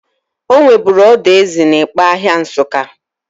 Onweburu odo ezi n'Ikpa ahịa Nsuka.